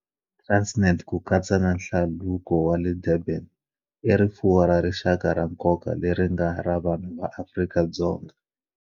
Transnet, ku katsa na Hlaluko wa le Durban, i rifuwo ra rixaka ra nkoka leri nga ra vanhu va Afrika-Dzonga.